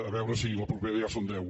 a veure si la propera ja en són deu